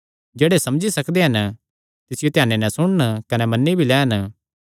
जेह्ड़े समझी सकदे हन तिसियो ध्याने नैं सुणन कने मन्नी भी लैन